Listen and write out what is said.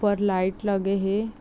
ऊपर लाईट लगे हे ।